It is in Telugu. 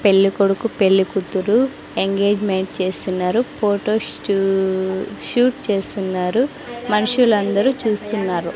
పెళ్లి కొడుకు పెళ్లి కూతురు ఎంగేజ్మెంట్ చేస్తున్నారు ఫోటో షూ-- షూట్ చేస్తున్నారు మనుషులందరూ చూస్తున్నారు.